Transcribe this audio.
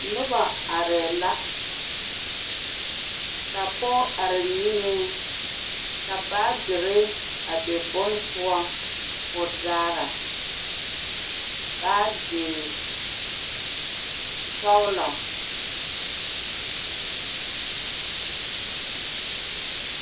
noba are la, ka pɔge are niŋɛ ka baagere a be bon poɔ kɔɔ daara baage sɔglɔ